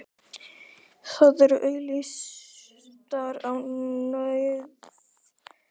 Þær eru auglýstar á nauðungaruppboði í Lögbirtingablaðinu í dag!